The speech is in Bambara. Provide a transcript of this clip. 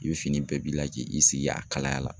I bɛ fini bɛɛ b'i la k'i sigi a kalaya la.